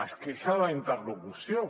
es queixa de la interlocució